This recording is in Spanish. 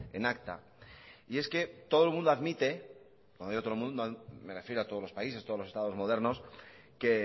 en acta y es que todo el mundo admite uando digo todo el mundo me refiero a todos los países todos los estados modernos que